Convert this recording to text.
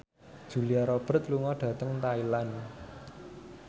Julia Robert lunga dhateng Thailand